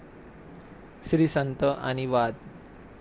श्रीसंत आणि वाद!